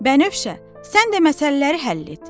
Bənövşə, sən də məsələləri həll et.